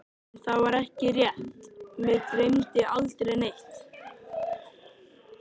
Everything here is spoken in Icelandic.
En það var ekki rétt, mig dreymdi aldrei neitt.